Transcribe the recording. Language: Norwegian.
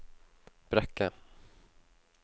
Brekke